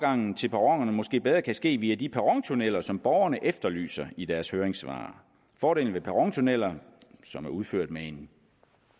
til perronerne måske bedre kan ske via de perrontunneller som borgerne efterlyser i deres høringssvar fordelen ved perrontunneller som er udført med en